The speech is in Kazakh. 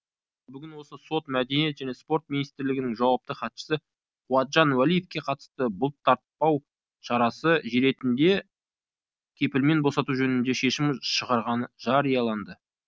ал бүгін осы сот мәдениет және спорт министрлігінің жауапты хатшысы қуатжан уәлиевке қатысты бұлтартпау шарасы ретінде кепілмен босату жөнінде шешім шығарғаны жарияланды